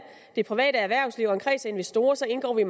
det private erhvervsliv og en kreds af investorer så indgår vi